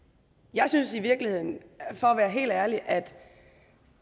jeg synes i virkeligheden for at være helt ærlig at